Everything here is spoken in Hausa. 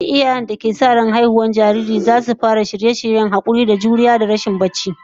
Duk iyayen da ke sa rai da samun haihuwar jariri zasu fara shirya yin hakuri da shan kuka, hayaniya, rigima da rashin barci